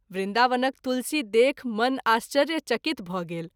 वृन्दावनक तुलसी देखि मन आश्चर्य चकित भ’ गेल।